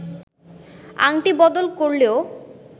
আংটি বদল করলেও